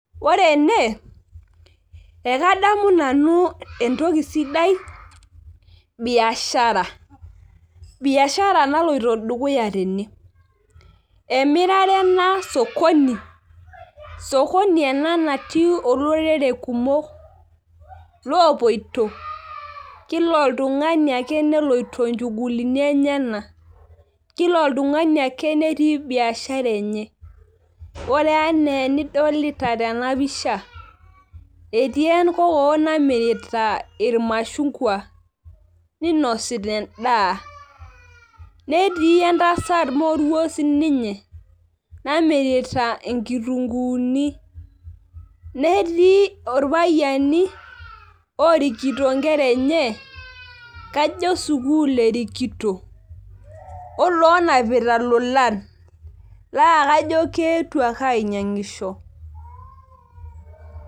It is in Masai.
ore ene endoki sidai ekadamu nanu biashara naloito dukuya tene sokoni ena natii olorore kumok, lo poito kila oltung'ani neloito inchugulini enyanak, kila oltung'ani netii biashara enye, ore enaa enidolita tena pisha etii enkokoo namirta ilmashungwa, ninosita edaa netii endasat moruo namirita inkitunkuuni, netii ilpayiani oorikito inkera enye, kajo sukuul erikito olaanapita ilolan , naa kajo keetuo ake ainyang'isho.